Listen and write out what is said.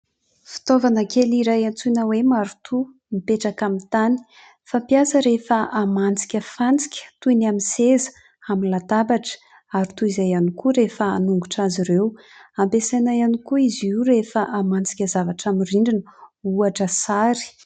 Fitaovana kely iray antsoina hoe marotoa mipetraka amin'ny tany fampiasa rehefa hamantsika fantsika toy ny amin'ny seza, amin'ny latabatra ary toy izay ihany koa rehefa hanongotra azy ireo ampiasaina ihany koa izy io rehefa hamantsika zavatra amin'ny rindrina ohatra sary